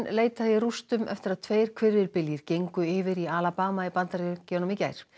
leitað í rústum eftir að tveir gengu yfir í í Bandaríkjunum í gær